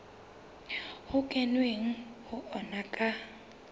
ho kenweng ho ona ka